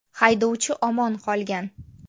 Haydovchi omon qolgan.